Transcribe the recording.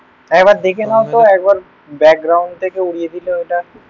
একবার দেখে নাও তো. একবার ব্যাকগ্রাউন্ড থেকে উড়িয়ে দিল এটা.